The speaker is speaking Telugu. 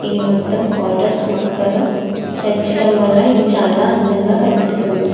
ఇది మొత్తం పోతుస్ మొక్కలు పెంచడం వల్ల చాల అందంగ వున్నది.